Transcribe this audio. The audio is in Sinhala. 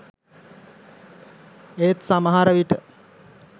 ඒත් සමහර විට